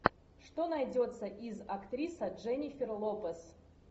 что найдется из актриса дженнифер лопес